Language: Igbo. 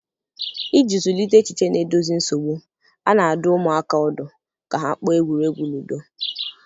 Iji zụlite echiche na-edozi nsogbu, a na-adụ ụmụaka ọdụ ka ha kpọọ egwuregwu ludo.